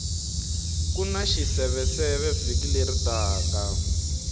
kuna xiseveseve vhiki leri taka